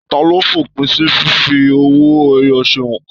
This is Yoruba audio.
Taló f'òpin sí fífi owó ẹyọ ṣe óńka?